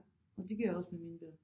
Og det gør jeg også med mine børn